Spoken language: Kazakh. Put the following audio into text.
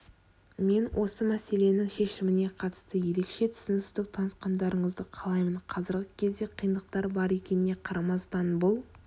мен осы мәселенің шешіміне қатысты ерекше түсіністік танытқандарыңызды қалаймын қазіргі кезде қиындықтар бар екеніне қарамастан бұл